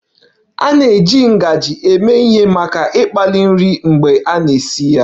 A na-eji ngaji eme ihe maka ịkpali nri mgbe ị na-esi nri